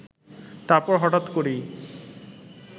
তারপর হঠাৎ করেই